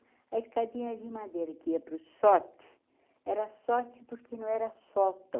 A escadinha de madeira que ia para o sóte, era sóte porque não era sótão.